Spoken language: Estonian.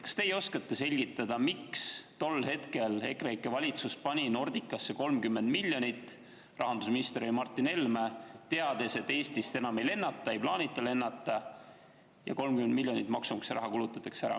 Kas teie oskate selgitada, miks tol hetkel EKREIKE valitsus pani Nordicasse 30 miljonit – rahandusminister oli Martin Helme –, teades, et Eestist enam ei lennata, ei plaanita lennata ja 30 miljonit maksumaksja raha kulutatakse ära?